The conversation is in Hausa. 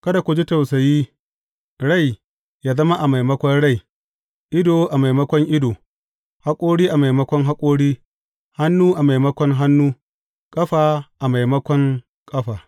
Kada ku ji tausayi, rai yă zama a maimakon rai, ido a maimakon ido, haƙori a maimakon haƙori, hannu a maimakon hannu, ƙafa a maimakon ƙafa.